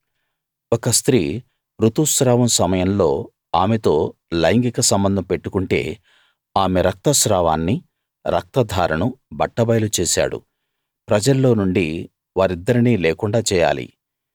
ఒక స్త్రీ ఋతుస్రావం సమయంలో ఆమెతో లైంగిక సంబంధం పెట్టుకుంటే ఆమె రక్త స్రావాన్ని రక్తధారను బట్టబయలు చేసాడు ప్రజల్లో నుండి వారిద్దరినీ లేకుండా చేయాలి